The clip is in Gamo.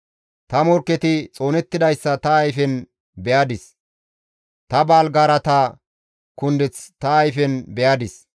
Ta morkketi xoonettidayssa ta ayfen be7adis; ta baalgaarata kundeth ta ayfen be7adis.